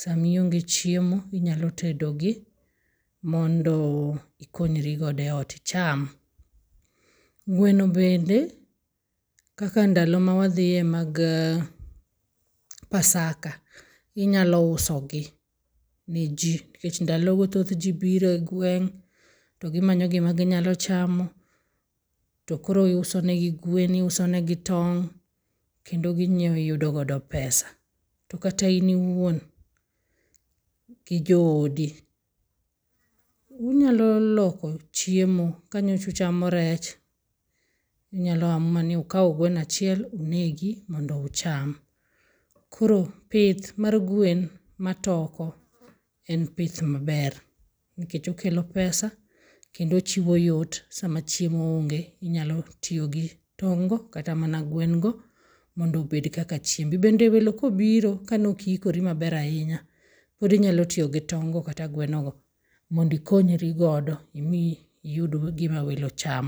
sama ionge chiemo. Inyalo tedo gi mondo ikonyrigodo e ot. Icham. Gwen bende kaka ndalo ma wadhie mag pasaka inyalo uso gi ne ji. Nikech ndalo go thoth ji biro e gweng' to gimanyo gima ginyalo chamo. To koro iuso ne gi gwen iuso ne gi tong'. Kendo ginyiew iyudo godo pesa. To kata in iwuon gi jooidi, unyalo loko chiemo. Ka nyocha uchamo rech unyalo amua ni ukaw gweno achiel unegi mondo ucham. Koro pith mar gwen matoko en pith maber nikech okelo pesa kendo ochiwo yot sama chiemo onge. Inyalo tiyo gi tong'go kata mana gwen go mondo obed kaka chiembi. Bende welo kobiro kane ok ikori maber ahinya pod inyalo tiyo gi tong' go kata gweno go mondo ikonyri godo imi iyud gima welo cham.